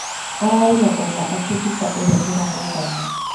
Ararĩ na ũũma atĩ mbĩca ĩrĩa ĩrarĩ thamũ